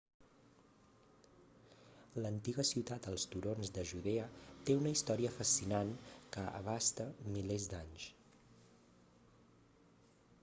l'antiga ciutat als turons de judea té una història fascinant que abasta milers d'anys